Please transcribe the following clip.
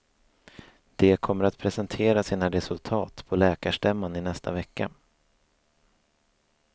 De kommer att presentera sina resultat på läkarstämman i nästa vecka.